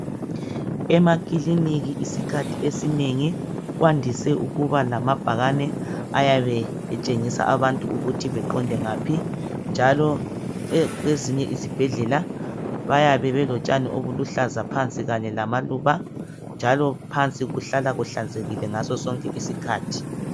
Emakilinika isikhathi esinengi kwandise ukuba lamabhakane ayabe etshengisa abantu ukuthi beqonde ngaphi njalo kwezinye izibhedlela bayabe belotshani obuluhlaza kanye lamaluba njalo phansi kuhlala kuhlanzekile ngasosonke isikhathi.